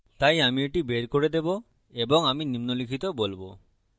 তাই আমি এটি বের করে দেবো এবং আমি নিম্নলিখিত বলবো